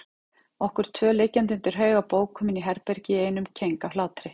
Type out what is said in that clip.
Okkur tvö liggjandi undir haug af bókum inni í herbergi í einum keng af hlátri.